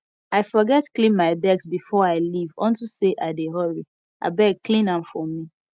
i forget clean my desk before i leave unto say i dey hurry abeg clean am for me